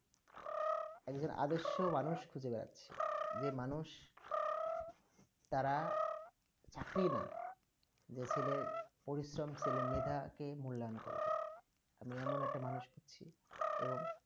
একজন আদশ মানুষ খুঁজে বেড়াচ্ছি যে মানুষ তারা যে চাকরি না যে ছেলের পরিশ্রম সেলে মেয়ে তাকে মূল্যায়ন করবে আমি এমন একটা মানূষ খুঁজছি এবং